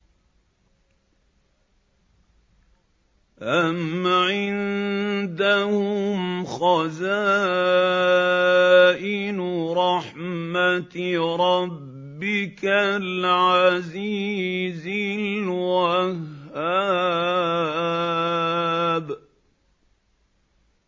أَمْ عِندَهُمْ خَزَائِنُ رَحْمَةِ رَبِّكَ الْعَزِيزِ الْوَهَّابِ